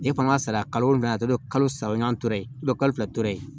E fana ka sara kalo wolonfana tɔ bɛ kalo saba o y'an to ye kalo fila tora yen